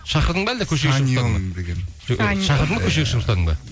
шақырдың ба әлде көшеге шақырдың ба көшеге шығып ұстадың ба